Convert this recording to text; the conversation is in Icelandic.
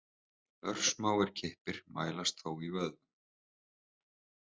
Örsmáir kippir mælast þó í vöðvum.